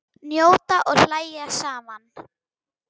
Njóta og hlæja saman.